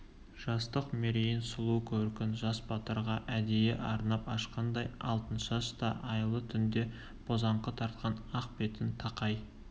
жастық мерейін сұлу көркін жас батырға әдейі арнап ашқандай алтыншаш та айлы түнде бозаңқы тартқан ақ бетін тақай